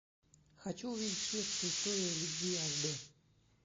хочу увидеть шведская история любви аш д